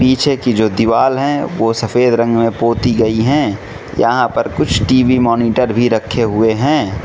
पीछे की जो दीवाल हैं वो सफेद रंग में पोती गई हैं यहां पर कुछ टी_वी मॉनिटर भी रखे हुए हैं।